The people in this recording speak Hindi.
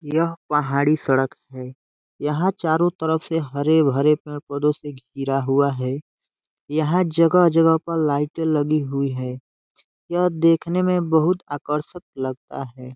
यह पहाड़ी सड़क है। यहाँ चारो तरफ से हरे भरे पेड़ पौधों से घिरा हुआ है। यहाँ जगह-जगह पर लाइटे लगी हुई है। यह देखने में बहुत आकर्षक लगता है।